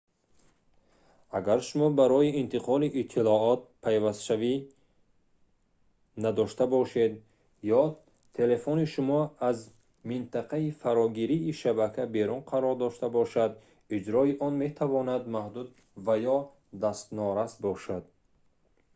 агар шумо барои интиқоли иттилоот пайвастшавӣ надошта бошед ё телефони шумо аз минтақаи фарогирии шабака берун қарор дошта бошад иҷрои он метавонад маҳдуд ва ё дастнорас бошад